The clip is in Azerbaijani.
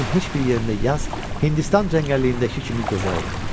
Dünyanın heç bir yerində yaz Hindistan cəngəlliyindəki kimi gözəl olmur.